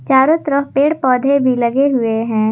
चारों तरफ पेड़ पौधे भी लगे हुए हैं।